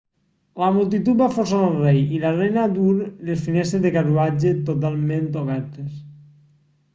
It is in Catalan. la multitud va forçar el rei i la reina a dur les finestres del carruatge totalment obertes